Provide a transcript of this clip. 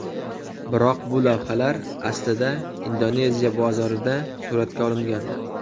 Biroq bu lavhalar aslida Indoneziya bozorida suratga olingan.